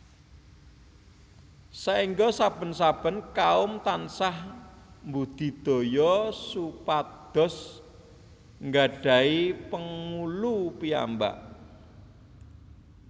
Saéngga saben saben kaum tansah mbudidaya supados nggadhahi pengulu piyambak